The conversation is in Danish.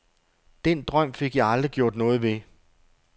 Den drøm fik jeg aldrig gjort noget ved.